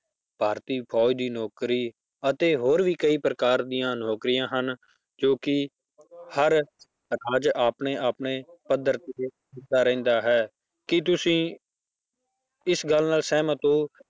ਭਾਰਤੀ ਫੌਜ਼ ਦੀ ਨੌਕਰੀ ਅਤੇ ਹੋਰ ਵੀ ਕਈ ਪ੍ਰਕਾਰ ਦੀਆਂ ਨੌਕਰੀਆਂ ਹਨ ਜੋ ਕਿ ਹਰ ਸਮਾਜ ਆਪਣੇ ਆਪਣੇ ਪੱਧਰ ਤੇ ਕਰਦਾ ਰਹਿੰਦਾ ਹੈ ਕੀ ਤੁਸੀਂ ਇਸ ਗੱਲ ਨਾਲ ਸਹਿਮਤ ਹੋ